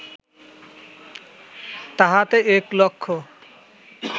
তাহাতে এক লক্ষ